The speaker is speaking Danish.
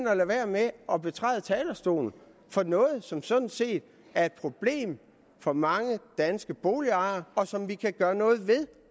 at lade være med at betræde talerstolen for noget som sådan set er et problem for mange danske boligejere og som vi kan gøre noget ved